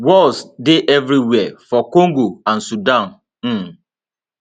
wars dey evriwia for congo and sudan um